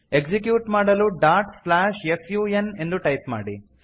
execute ಮಾಡಲು dot slash F U N ಎಂದು type ಮಾಡಿ